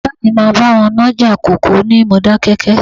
Bàbá mi máa bá wọn nájà kòkó ní Modákẹ́kẹ́